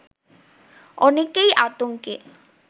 অনেকেই আতঙ্কে